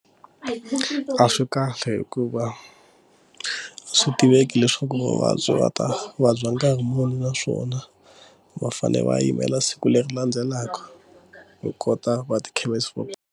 A swi kahle hikuva swi tiveki leswaku muvabyi va ta vabya nkarhi muni naswona va fanele va yimela siku leri landzelaka hi kota va ti .